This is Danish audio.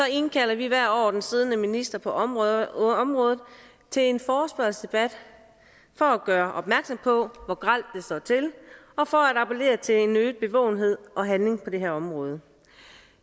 indkalder vi hvert år den siddende minister på området området til en forespørgselsdebat for gøre opmærksom på hvor grelt det står til og for at appellere til en øget bevågenhed og handling på det her område